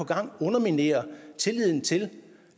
gang underminerer tilliden til